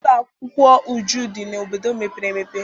Ụlọ akwụkwọ Uju dị n'obodo mepere emepe.